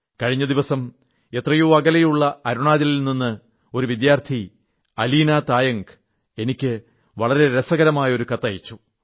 കഴിഞ്ഞ ദിവസം എത്രയോ അകലെയുള്ള അരുണാചലിൽ നിന്ന് ഒരു വിദ്യാർഥി അലീനാ തായംഗ് എനിക്ക് വളരെ രസകരമായ ഒരു കത്തയച്ചു